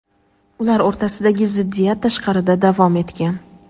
ular o‘rtasidagi ziddiyat tashqarida davom etgan.